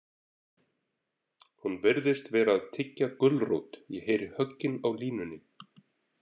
Hún virðist vera að tyggja gulrót, ég heyri höggin á línunni.